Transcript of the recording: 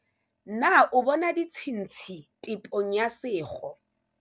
na o bona ditshintshi tepong ya sekgo?